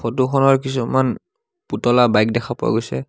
Photo খনৰ কিছুমান পুতলা বাইক দেখা গৈছে।